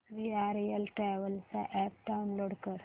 VRL Travels चा app download कर